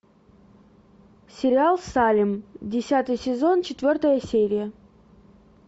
сериал салем десятый сезон четвертая серия